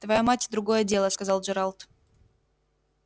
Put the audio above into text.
твоя мать другое дело сказал джералд